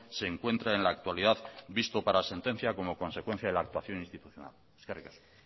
se encuentra en la actualidad visto para sentencia como consecuencia de la actuación institucional eskerrik asko